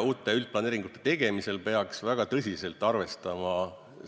Uute üldplaneeringute tegemisel peaks väga tõsiselt arvestama